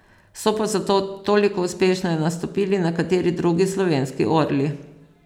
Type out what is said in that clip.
So pa zato toliko uspešneje nastopili nekateri drugi slovenski orli.